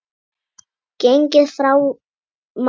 Gengið frá málum í